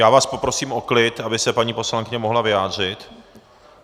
Já vás poprosím o klid, aby se paní poslankyně mohla vyjádřit.